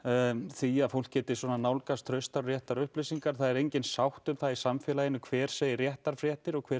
því að fólk geti nálgast traustar og réttar upplýsingar það er engin sátt um það í samfélaginu hver segir réttar fréttir og hver